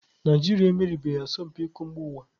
Naijiria emeriebeghị asọmpi iko mba ụwa.